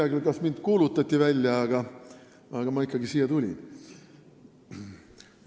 Ma ei tea, kas mind kuulutati välja, aga ma ikkagi tulin.